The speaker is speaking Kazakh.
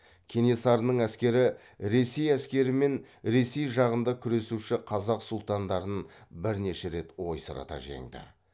кенесарының әскері ресей әскері мен ресей жағында күресуші қазақ сұлтандарын бірнеше рет ойсырата жеңді